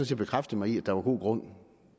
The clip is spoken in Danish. set bekræftet mig i at der var god grund